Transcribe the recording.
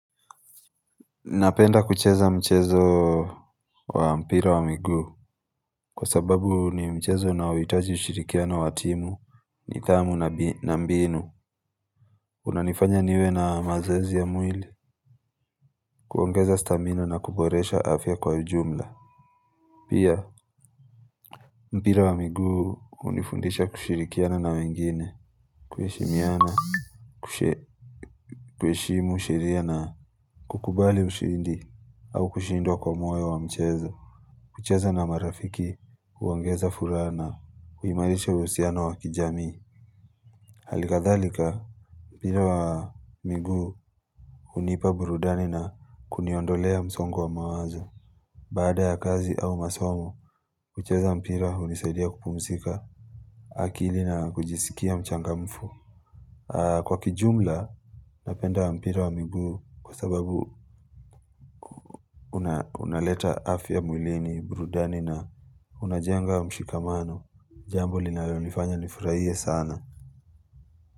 Napenda kucheza mchezo wa mpira wa migu Kwa sababu ni mchezo unaohitaji ushirikiano wa timu nidhamu na mbinu unanifanya niwe na mazoezi ya mwili kuongeza stamina na kuboresha afya kwa ujumla Pia mpira wa miguu hunifundisha kushirikiana na wengine kuheshimiana kuheshimu sheria na kukubali ushindi au kushindwa kwa moyo wa mchezo kucheza na marafiki huongeza furaha na huimarisha uhusiano wa kijamii Hali kadhalika, mpira wa miguu hunipa burudani na kuniondolea msongo wa mawazo Baada ya kazi au masomo, kucheza mpira hunisaidia kupumzika akili na kujisikia mchangamfu Kwa kijumla, napenda mpira wa miguu kwa sababu unaleta afya mwilini, burudani na unajenga mshikamano Jambo linalonifanya nifurahie sana.